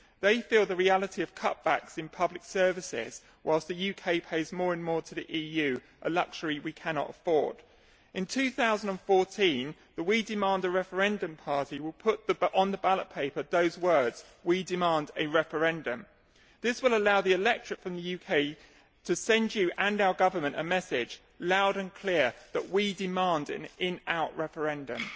They feel the reality of cutbacks in public services, whilst the UK pays more and more to the EU a luxury we cannot afford. In 2014 the We Demand a Referendum Party will put on the ballot paper those words, We demand a referendum'. This will allow the electorate from the UK to send you, and our government, a message, loud and clear, that we demand an in out referendum.